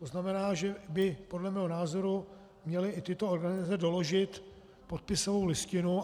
To znamená, že by podle mého názoru měly i tyto organizace doložit podpisovou listinu.